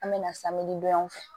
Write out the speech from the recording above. An mɛna don yan fɛ